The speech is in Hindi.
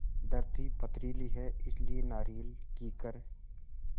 धरती पथरीली है इसलिए नारियल कीकर